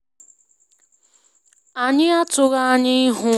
Anyị atụghị anya ịhụ snow ma o mere ka obodo ugwu ahụ dị ka ebe anwansị ma dị jụụ um